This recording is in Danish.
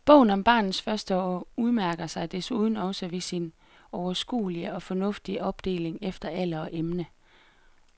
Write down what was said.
Bogen om barnets første år udmærker sig desuden også ved sin overskuelige og fornuftige opdeling efter alder og emne.